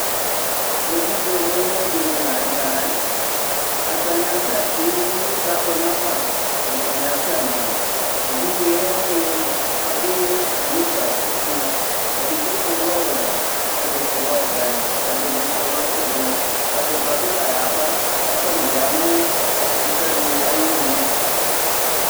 Evidze mue mue dini lanʋ tɛ atani asɛti kʋ inysɛ abʋ nafa ɛdini asɛmɔ evidze wani adʋ nika ikʋ edigbo su lɛ ɔwɛ kʋ ɛdisʋ lɛ ɔvɛ kʋ ɛdibi sʋ bilɛ ʋblɔ ɔbʋba bi layaba kʋ atani yanʋ ɔfʋta di ayinʋ